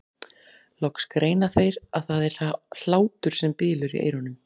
Loks greina þeir að það er hlátur sem bylur í eyrunum.